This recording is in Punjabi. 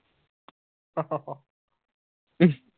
ਹੂ